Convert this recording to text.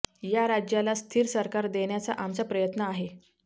या राज्याला स्थिर सरकार देण्याचा आमचा प्रयत्न आहे